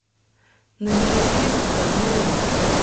набери фильм родные руки